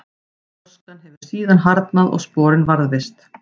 gjóskan hefur síðan harðnað og sporin varðveist